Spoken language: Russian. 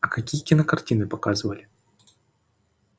а какие кинокартины показывали